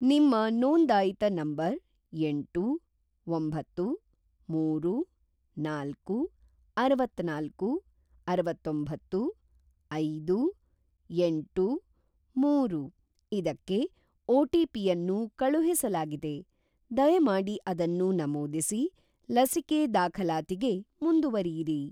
ನಿಮ್ಮ ನೋಂದಾಯಿತ ನಂಬರ್‌ ಎಂಟು, ಒಂಬತ್ತು, ಮೂರು, ನಾಲ್ಕು, ಅರವತ್ತನಾಲ್ಕು, ಅರವತ್ತೊಂಬತ್ತು, ಐದು, ಎಂಟು, ಮೂರು ಇದಕ್ಕೆ ಒ.ಟಿ.ಪಿ.ಯನ್ನು ಕಳುಹಿಸಲಾಗಿದೆ, ದಯಮಾಡಿ ಅದನ್ನು ನಮೂದಿಸಿ ಲಸಿಕೆ ದಾಖಲಾತಿಗೆ ಮುಂದುವರಿಯಿರಿ.